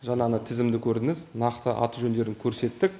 жаңа ғана тізімді көрдіңіз нақты аты жөндерін көрсеттік